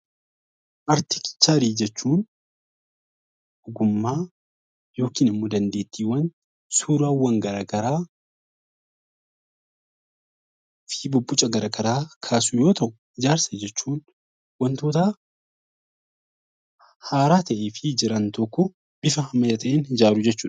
Arkiteekcharii jechuun ogummaa yookiin immoo dandeettiiwwan suuraawwan garaagaraa fi bobboca garaagaraa kaasu yoo ta'u, ijaarsa jechuun wantoota haaraa ta'ee fi jiran tokko ammeetiin ijaaruu jechuudha.